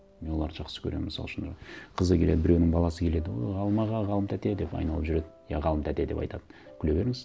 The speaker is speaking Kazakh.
мен оларды жақсы көремін мысалы үшін қызы келеді біреуінің баласы келеді о ғалым аға ғалым тәте деп айналып жүреді иә ғалым тәте деп айтады күле беріңіз